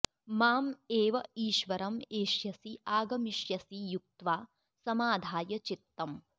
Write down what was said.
मां एव ईश्वरं एष्यसि आगमिष्यसि युक्त्वा समाधाय चित्तम्